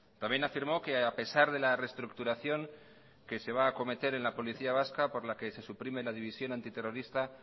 también afirmó que a pesar de la reestructuración que se va a acometer en la policía vasca por la que se suprime la división antiterrorista